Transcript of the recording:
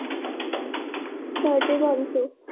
ਸਾਢੇ ਪੰਜ ਸੌ l